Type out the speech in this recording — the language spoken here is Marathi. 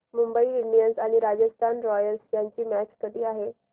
मुंबई इंडियन्स आणि राजस्थान रॉयल्स यांची मॅच कधी आहे